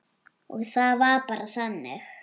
Og það var bara þannig.